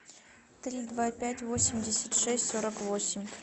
три два пять восемьдесят шесть сорок восемь